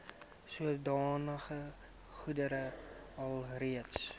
sodanige goedere alreeds